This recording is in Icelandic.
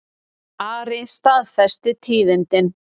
Ari staðfesti tíðindin.